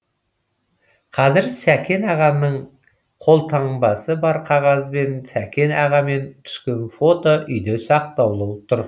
қазір сәкен ағаның қолтаңбасы бар қағаз бен сәкен ағамен түскен фото үйде сақтаулы тұр